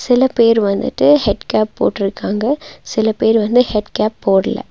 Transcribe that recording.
சில பேர் வந்துட்டு ஹெட் கேப் போட்ருகாங்க சில பேர் வந்து ஹெட்கேப் போட்ல.